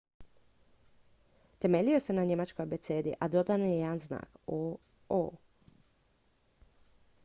"temeljio se na njemačkoj abecedi a dodan je jedan znak "õ/õ"".